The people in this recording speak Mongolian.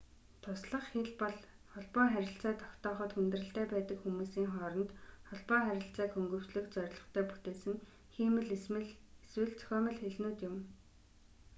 туслах хэл бол холбоо харилцаа тогтооход хүндрэлтэй байдаг хүмүүсийн хооронд холбоо харилцааг хөнгөвчлөх зорилготой бүтээсэн хиймэл эсвэл зохиомол хэлнүүд юм